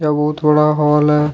बहुत बड़ा हाल है।